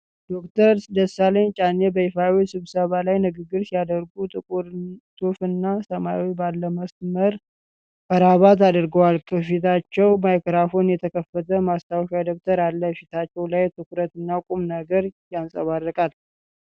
ዶክተር ደሳለኝ ጫኔ በይፋዊ ስብሰባ ላይ ንግግር ሲያደርጉ። ጥቁር ሱፍ እና ሰማያዊ ባለመስመር ክራባት አድርገዋል፤ ከፊታቸው ማይክሮፎንና የተከፈተ ማስታወሻ ደብተር አለ። ፊታቸው ላይ ትኩረትና ቁም ነገር ያንጸባርቃል።